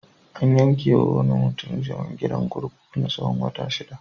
An yanke wa wani mutum zaman gidan kurkuku na tsawon wata shida.